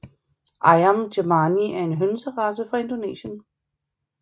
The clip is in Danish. Ayam Cemani er en hønserace fra Indonesien